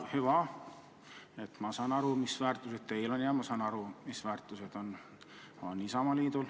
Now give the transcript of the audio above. Hüva, ma saan aru, mis väärtused teil on ja mis väärtused on Isamaal.